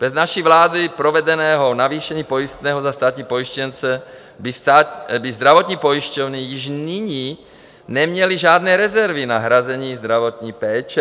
Bez naší vládou provedeného navýšení pojistného za státní pojištěnce by zdravotní pojišťovny již nyní neměly žádné rezervy na hrazení zdravotní péče.